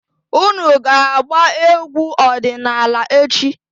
Unu ga-agba egwu ọdịnaala echi!